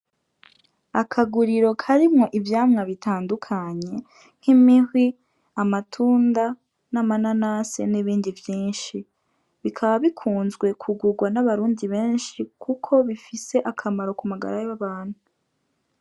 Akaguriro karimwo ivyamwa bitandukanye nk'imihwi, amatunda, n'amananasi n'ibindi vyinshi. Bikaba bikunzwe kugugwa n'abarundi benshi kuko bifise akamaro kumagara y'abantu.